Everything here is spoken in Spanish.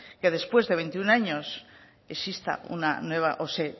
que después de veintiuno años exista una nueva o se